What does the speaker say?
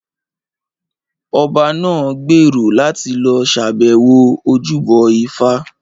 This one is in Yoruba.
Ọba náà gbèrò láti lọ ṣàbẹ̀wọ̀ ojúbọ ifá